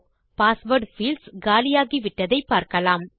password fields காலியாகிவிட்டதை பார்க்கலாம்